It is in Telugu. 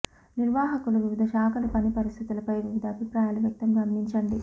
నిర్వాహకులు వివిధ శాఖలు పని పరిస్థితులపై వివిధ అభిప్రాయాలు వ్యక్తం గమనించండి